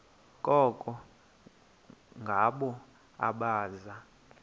koko ngabo abaza